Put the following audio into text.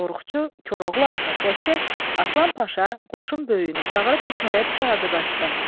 Qorxucu Koroğlunun adını çək-çək, Aslan Paşa qoşun böyüyünü çağırıb hökm elədi ki, hazırlaşsın.